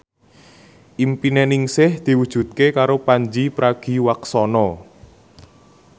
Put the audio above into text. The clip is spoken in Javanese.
impine Ningsih diwujudke karo Pandji Pragiwaksono